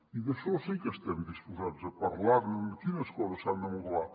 i d’això sí que estem disposats a parlar ne de quines coses s’han de modelar